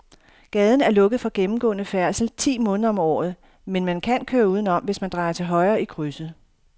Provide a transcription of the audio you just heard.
Gaden er lukket for gennemgående færdsel ti måneder om året, men man kan køre udenom, hvis man drejer til højre i krydset.